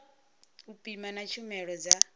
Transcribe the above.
u pima na tshumelo dza